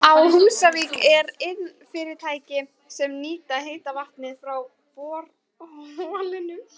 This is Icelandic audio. Á Húsavík eru iðnfyrirtæki sem nýta heita vatnið frá borholunum.